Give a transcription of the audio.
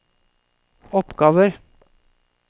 oppgaver